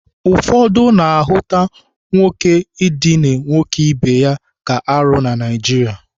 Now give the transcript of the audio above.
Ụfọdụ na-ahụta nwoke idina nwoke ibe ya ka arụ na Naijiria